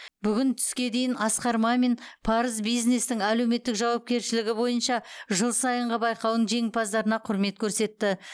бүгін түске дейін асқар мамин парыз бизнестің әлеуметтік жауапкершілігі бойынша жыл сайынғы байқауының жеңімпаздарына құрмет көрсетті